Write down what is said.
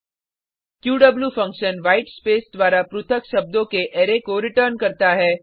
Q function white space द्वारा पृथक शब्दों के अरै को रिटर्न करता है